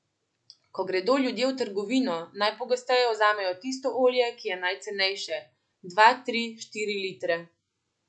Ko gredo ljudje v trgovino, najpogosteje vzamejo tisto olje, ki je najcenejše, dva, tri, štiri litre ...